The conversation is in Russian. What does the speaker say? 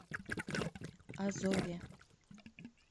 азове